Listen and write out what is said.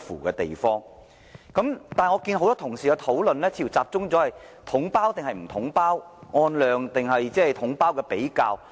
但是，我發覺很多同事的討論似乎集中在統包與否、按量付費，或統包的比較。